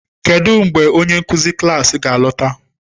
Kedu mgbe onye nkuzi klas ga-alọta?